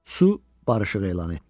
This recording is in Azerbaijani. Su barışıq elan etdi.